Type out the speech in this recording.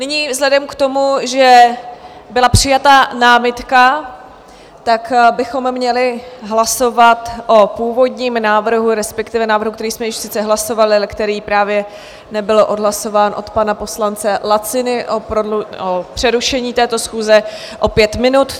Nyní vzhledem k tomu, že byla přijata námitka, tak bychom měli hlasovat o původním návrhu, respektive návrhu, který jsme již sice hlasovali, ale který právě nebyl odhlasován, od pana poslance Laciny o přerušení této schůze na pět minut.